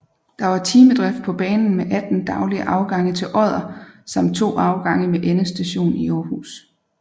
Der var timedrift på banen med 18 daglige afgange til Odder samt to afgange med endestation i Aarhus